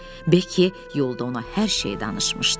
Beki yolda ona hər şeyi danışmışdı.